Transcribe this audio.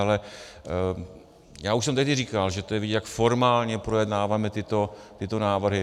Ale já už jsem tehdy říkal, že to je vidět, jak formálně projednáváme tyto návrhy.